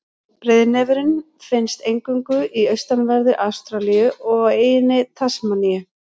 Breiðnefurinn finnst eingöngu í austanverðri Ástralíu og á eyjunni Tasmaníu.